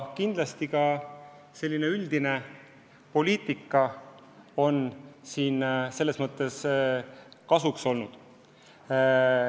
Kindlasti üldine poliitika on siin selles mõttes kasuks olnud.